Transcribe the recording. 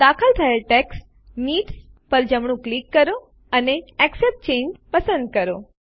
દાખલ થયેલ text needs પર જમણું ક્લિક કરો અને એક્સેપ્ટ ચાંગે પસંદ કરો